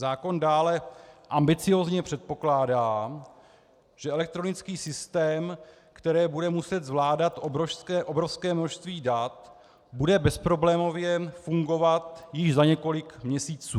Zákon dále ambiciózně předpokládá, že elektronický systém, který bude muset zvládat obrovské množství dat, bude bezproblémově fungovat již za několik měsíců.